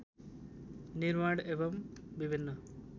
निर्माण एवं विभिन्न